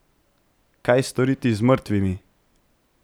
Kaj storiti z mrtvimi?